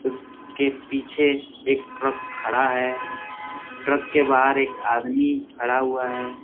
इसके पीछे एक ट्रक खड़ा है ट्रक के बाहर एक आदमी खड़ा हुआ है।